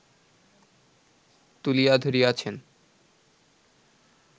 তুলিয়া ধরিয়াছেন